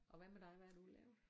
Og hvad med dig hvad har du lavet?